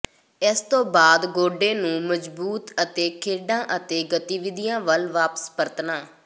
ਇਸ ਤੋਂ ਬਾਅਦ ਗੋਡੇ ਨੂੰ ਮਜਬੂਤ ਅਤੇ ਖੇਡਾਂ ਅਤੇ ਗਤੀਵਿਧੀਆਂ ਵੱਲ ਵਾਪਸ ਪਰਤਣਾ